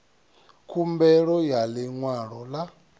khumbelo ya ḽi ṅwalo ḽa